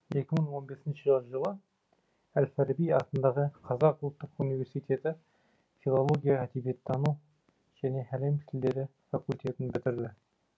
екі мың он бесінші жылы әл фараби атындағы қазақ ұлттық университеті филология әдебиеттану және әлем тілдері факультетін бітірді